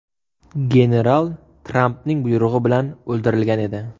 General Trampning buyrug‘i bilan o‘ldirilgan edi.